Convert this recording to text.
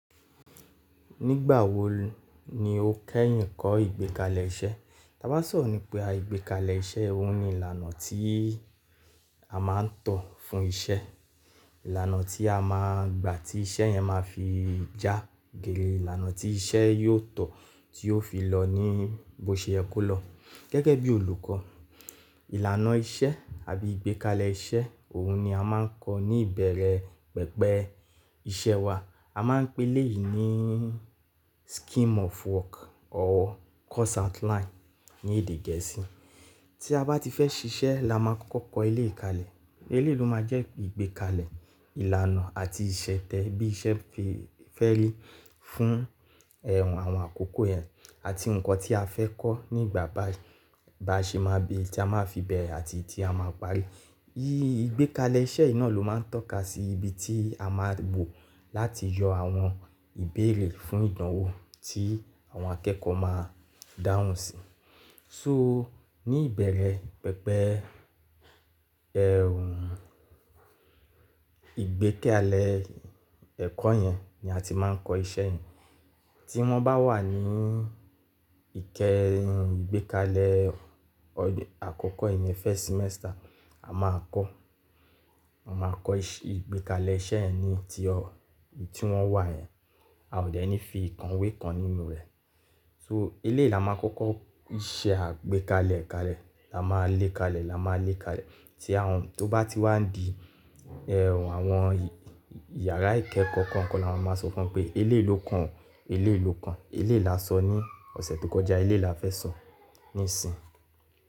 Nígbà wo ni o kẹ́yìn kọ́ ìgbékalẹ̀ iṣẹ́? Ti a bá sọ̀rọ̀ ní pa ìgbékalẹ̀ iṣẹ́, òun ni ìlànà tí a máa ń tọ̀ fún iṣẹ́. Ìlànà tí a máa gbà tí iṣẹ́ yẹn máa fi já géèrè. Ìlànà tí iṣẹ́ yóò tọ̀ tí ó fi lọ ní bó ṣe ẹ kó lọ. Gẹ́gẹ́ bí olùkọ́, ìlànà iṣẹ́ àbí ìgbékalẹ̀ iṣẹ́ òun ni a máa ń kọ́ ní ìbẹ̀rẹ̀ pẹpẹ iṣẹ́ wa. A máa ń pè eléyìí ní scheme of work or course outline ní èdè gẹ̀ẹ́sì. Tí a bá ti fẹ́ ṣiṣẹ́ la máa kọ́kọ́ kọ eléyìí kalẹ̀. Elé yìí ló máa jẹ́ ìgbékalẹ̀ ìlànà àti ìṣẹ̀tẹ̀ bí iṣẹ́ fi fẹ́ rí fún ẹ̀ àwọn àkọ́kọ́ yẹn àti nǹkan tí a fẹ́ kọ́ nígbà bayi ba ṣe máa bí i tí a máa fi bẹ̀rẹ̀ àti tí a máa parí. Í ìgbékalẹ̀ iṣẹ́ yi ná ló máa ń tọ́ka sí ibi tí a máa wò láti yọ àwọn ìbéèrè fún ìdánwò tí àwọn akẹ́kọ̀ọ́ máa dáhùn sí. So ní ìbẹ̀rẹ̀ pẹpẹ ẹ̀wnnn ìgbékalẹ̀ ẹ̀kọ́ yẹn ni a ti máa ń kọ iṣẹ́ yẹn. Tí wọ́n bá wà ní ìkẹrí ìgbékalẹ̀ ọdẹ àkọ́kọ́ ìyẹn first semester, a máa kọ́. A máa kọ́ ìgbékalẹ̀ iṣẹ́ yẹ ni tí ọ, ì tí wọ́n wà yẹn. A ò dẹ̀ ní fi ìkànwé kan nínú rẹ̀. So eleyii là máa kọ́kọ́ iṣẹ́ àgbékalẹ̀ kalẹ̀. La máa lé kalẹ̀, la máa lé kalẹ̀. Tí àwọn tó bá ti wá di ẹ̀www àwọn ìyàrá ìkẹ́kọ̀ọ́ kan kan, la máa sọ fún wọn pé eleyi lo kan, eléyi lo kan. Eléyìí la sọ ní ọ̀sẹ̀ tó kọjá, eléyìí la fẹ́ sọ nísìnyí.